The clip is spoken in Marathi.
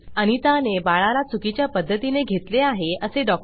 अनिता ने बाळाला चुकीच्या पद्धतीने घेतले आहे असे डॉ